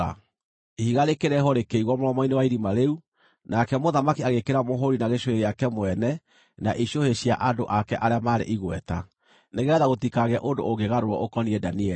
Ihiga rĩkĩreehwo, rĩkĩigwo mũromo-inĩ wa irima rĩu, nake mũthamaki agĩĩkĩra mũhũũri na gĩcũhĩ gĩake mwene na icũhĩ cia andũ ake arĩa marĩ igweta, nĩgeetha gũtikagĩe ũndũ ũngĩgarũrwo ũkoniĩ Danieli.